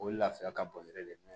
O ye lafiya ka bon yɛrɛ de